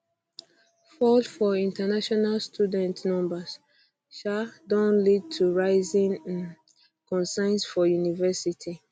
fall for international student numbers um don lead to rising um concerns for universities